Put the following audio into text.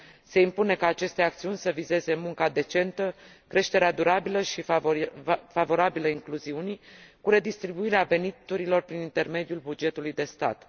Se impune ca aceste acțiuni să vizeze munca decentă, creșterea durabilă și favorabilă incluziunii, cu redistribuirea veniturilor prin intermediul bugetului de stat.